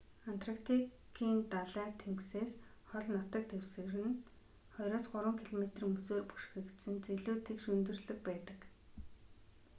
антарктикийн далай тэнгисээс хол нутаг дэвсгэр нь 2-3 км мөсөөр бүрхэгдсэн зэлүүд тэгш өндөрлөг байдаг